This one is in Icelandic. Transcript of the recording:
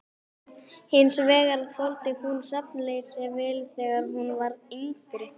Hins vegar þoldi hún svefnleysi vel þegar hún var yngri.